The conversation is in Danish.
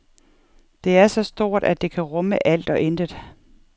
Det er så stort, at det kan rumme alt og intet.